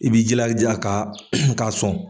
I b'i jilaja ka ka sɔn.